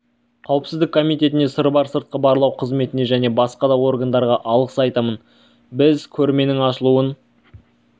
қауіпсіздік комитетіне сырбар сыртқы барлау қызметіне және басқа да органдарға алғыс айтамын біз көрменің ашылуын